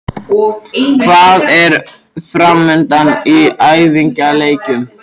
Hvað er framundan í æfingaleikjum?